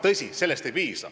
Tõsi, sellest ei piisa.